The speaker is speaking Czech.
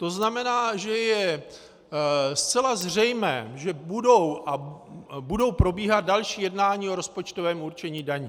To znamená, že je zcela zřejmé, že budou probíhat další jednání o rozpočtovém určení daní.